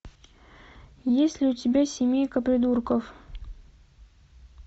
есть ли у тебя семейка придурков